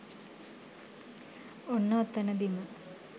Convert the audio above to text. ඔන්න ඔතනදිම